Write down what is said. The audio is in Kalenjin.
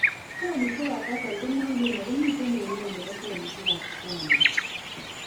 Selishekab basal komukulen akomite neg' ng'ony nebo selishekab squamous